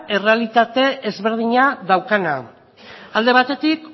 errealitate desberdina daukana alde batetik